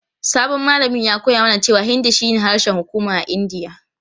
Sabon malamin ya koya mana cewa Hindi shine harshen hukuma a Indiya.